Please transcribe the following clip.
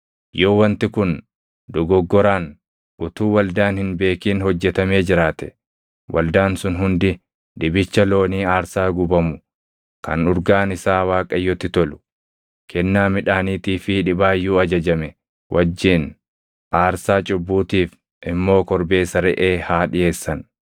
yoo wanti kun dogoggoraan utuu waldaan hin beekin hojjetamee jiraate waldaan sun hundi dibicha loonii aarsaa gubamu kan urgaan isaa Waaqayyotti tolu, kennaa midhaaniitii fi dhibaayyuu ajajame wajjin, aarsaa cubbuutiif immoo korbeessa reʼee haa dhiʼeessan.